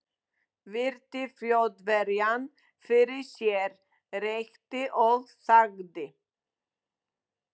Virti Þjóðverjann fyrir sér, reykti og þagði.